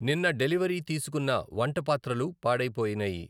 నిన్న డెలివరీ తీసుకున్న వంటపాత్రలు పాడైపోయినాయి.